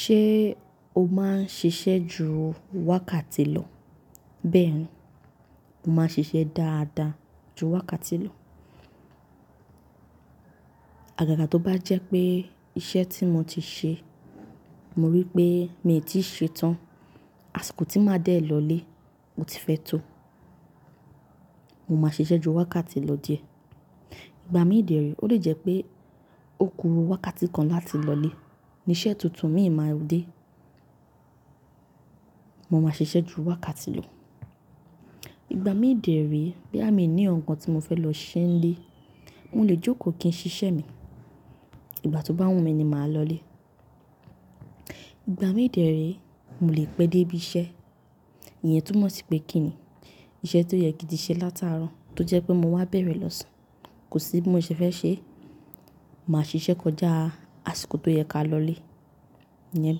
Ṣé o máa ń ṣiṣẹ́ ju wákàtí lọ? Bẹ́ẹ̀ni, mo máa ń ṣiṣẹ́ dáadáa ju wákàtí lọ. Àgàgà tó bá jẹ́ pé iṣẹ́ tí mo ti ṣe, mo rí pé mii tí ì ṣe tán, àsìkò tí màá dé lọlé o ti fẹ́ tó, mo máa ṣiṣẹ́ ju wákàtí lọ díẹ̀. Ìgbà mí dẹ̀ re ó lè jẹ́ pé ó ku wákàtí kan láti lọlé, ní iṣẹ́ tuntun miì máa dé. Mo máa ṣiṣẹ́ ju wákàtí lọ. Ìgbà mí dẹ̀ re, boyà mí ní nkankan tí mo fẹ́ lọ ṣe nlé, mo lè jókòó kí n ṣiṣẹ́ mi. Ìgbà tó bá wùnmí ni màá lọlé. Ìgbà mí dẹ̀ re, mo lè pẹ́ dé ibi iṣẹ́, ìyen túnmọ̀ sí pé kí ni, iṣẹ́ tó yẹ kí n tiṣẹ́ látàárọ̀ tó jẹ́ pé mo wá bẹ̀rẹ̀ lọ́sàn, kò sí bí mo ṣe fẹ́ ṣe é, màá ṣiṣẹ́ kọjá àsìkò tó yẹ ká lọlé. Ìyẹn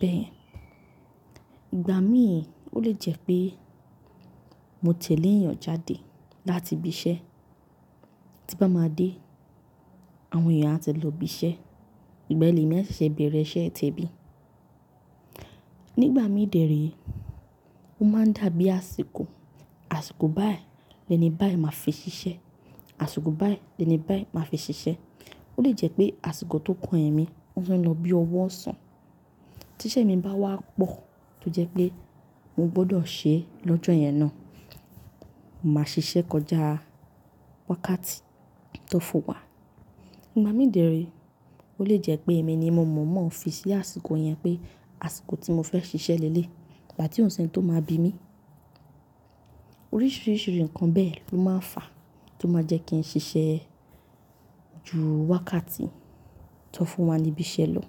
bẹ́ẹ̀ yẹn. Ìgbà mí, ó lè jẹ́ pé mo tẹ̀lé èèyàn jáde láti ibi iṣẹ́, tí n bá máa dé, àwọn èèyàn á ti lọ ibi iṣẹ́, ìgbà yen lemi à ṣẹṣe bẹ̀rẹ̀ iṣẹ́ temi. Nígbà mí dẹ̀ re, ó máa ń dàbí àsìkò, àsìkò báyìí lẹ́ni báyìí màá fi ṣiṣẹ́, àsìkò báyìí lẹ́ni báyìí màá fi ṣiṣẹ́. Ó lè jẹ́ pé àsìkò tó kàn emi, ó fe lọ bí ọwọ́ ọ̀sán, tí iṣẹ́ mi bá wá pọ̀ tó jẹ́ pé mo gbọdọ̀ ṣe lọ́jọ́ yẹn náà, màá ṣiṣẹ́ kọjá wákàtí tó fún wa. Ìgbà mí dẹ̀ re, ó lè jẹ́ pé èmi ni mo mọ̀mọ́ fi sí àsìkò yẹn pé àsìkò tí mo fẹ́ ṣiṣẹ́ leléyi, ìgbà tí ò si ẹ́ni tó máa bi mí. Oríṣiríṣi ǹkan bẹ́ẹ̀ ló máa ń fà tó máa jẹ́ kí n ṣiṣẹ́ ju wákàtí tó fún wa ní ibi iṣẹ́ lọ.